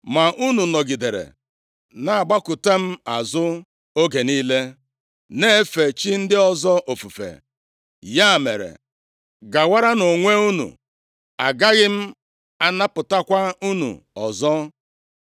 Ma unu nọgidere na-agbakụta m azụ oge niile, na-efe chi ndị ọzọ ofufe. Ya mere, gawaranụ onwe unu, agaghị m anapụtakwa unu ọzọ.